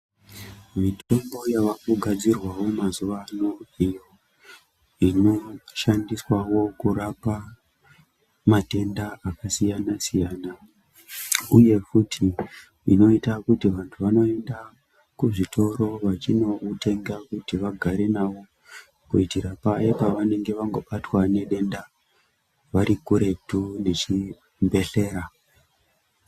Mitombo yaakugadzirwawo mazuwa ano iyo inoshandiswawo kurapa matenda akasiyanasiyana, uye kuti inoita kuti vanhu vanoende kuzvitoro vachinotenga kuitira paya pavanege vangobatwa nedenda vari kuretu nechibhehlera.